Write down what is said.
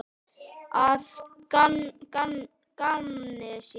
Að gamni sínu?